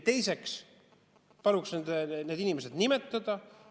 Teiseks palun need inimesed nimetada.